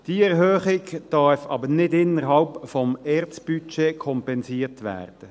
Diese Erhöhung darf jedoch nicht innerhalb des ERZ-Budgets kompensiert werden.